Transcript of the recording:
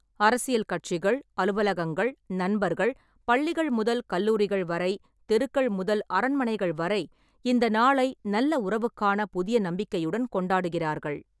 அரசியல் கட்சிகள், அலுவலகங்கள், நண்பர்கள், பள்ளிகள் முதல் கல்லூரிகள் வரை, தெருக்கள் முதல் அரண்மனைகள் வரை இந்த நாளை நல்ல உறவுக்கான புதிய நம்பிக்கையுடன் கொண்டாடுகிறார்கள்.